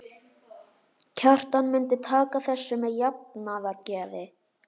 Kjartan myndi taka þessu með jafnaðargeði.